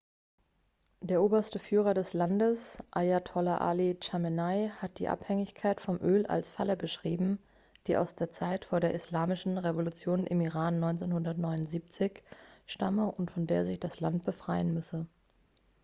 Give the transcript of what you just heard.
der oberste führer des landes ayatollah ali chamenei hat die abhängigkeit vom öl als falle beschrieben die aus der zeit vor der islamischen revolution im iran 1979 stamme und von der sich das land befreien müsse